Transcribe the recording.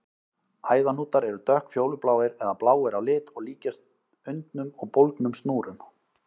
Æðahnútar eru dökkfjólubláir eða bláir á lit og líkjast undnum og bólgnum snúrum.